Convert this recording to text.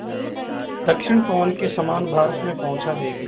दक्षिण पवन के समान भारत में पहुँचा देंगी